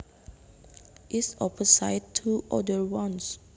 is opposite to other ones